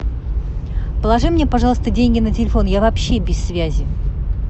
положи мне пожалуйста деньги на телефон я вообще без связи